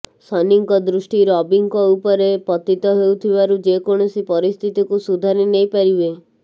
ଶନିଙ୍କ ଦୃଷ୍ଟି ରବିଙ୍କ ଉପରେ ପତିତ ହେଉଥିବାରୁ ଯେକୌଣସି ପରିସ୍ଥିତିକୁ ସୁଧାରି ନେଇପାରିବେ